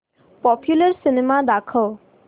popular cinema दाखव